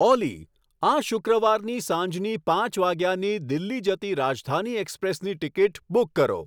ઓલી આ શુક્રવાની સાંજની પાંચ વાગ્યાની દિલ્હી જતી રાજધાની એક્સપ્રેસની ટીકિટ બુક કરો